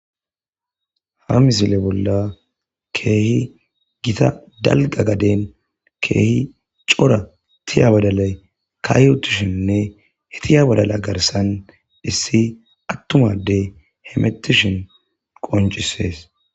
ha misile bolla keehi gita dalga gaden keehi cora tiya badalay kaayutishinnne hetiya wadala garsan dhissi attumadey hemetishin qoncisees